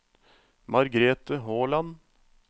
Margrete Håland